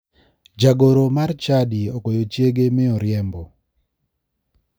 Jagoro mar chadi ogoyo chiege mi oriembo.